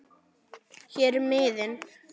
Hér er miðinn